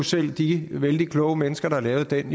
selv de vældig kloge mennesker der lavede den